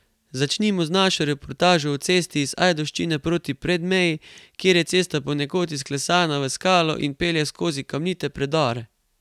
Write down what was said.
Začnimo z našo reportažo o cesti iz Ajdovščine proti Predmeji, kjer je cesta ponekod izklesana v skalo in pelje skozi kamnite predore.